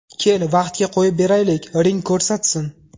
Kel, vaqtga qo‘yib beraylik, ring ko‘rsatsin.